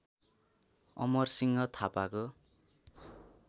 अमरसिंह थापाको